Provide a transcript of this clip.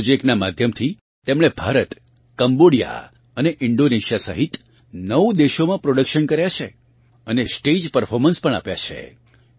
આ પ્રોજેક્ટનાં માધ્યમથી તેમણે ભારત કમ્બોડિયા અને ઇન્ડોનેશિયાની સહિત નવ દેશોમાં પ્રોડક્શન કર્યા છે અને સ્ટેજ પ્રર્ફોર્મન્સ પણ આપ્યા છે